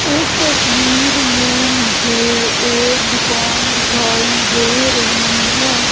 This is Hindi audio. इस तस्वीर में मुझे एक दुकान दिखाई दे रही है।